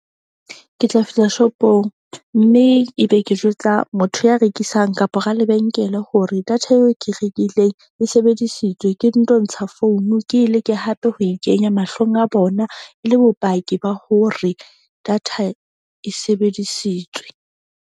Ke tla fihla shop-ong mme ebe ke jwetsa motho ya rekisang, kapa ra lebenkele hore data eo ke rekileng e sebedisitswe. Ke nto ntsha founu ke e leke hape ho ikenya mahlong a bona e le bopaki ba hore data e sebedisitswe.